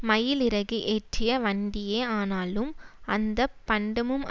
மயிலிறகு ஏற்றிய வண்டியே ஆனாலும் அந்த பண்டமும்